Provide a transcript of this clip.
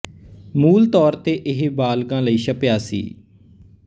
ਮੂਲ ਤੌਰ ਤੇ ਇਹ ਬਾਲਗਾਂ ਲਈ ਛਪਿਆ ਸੀ